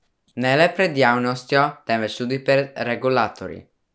Ne le pred javnostjo, temveč tudi pred regulatorji.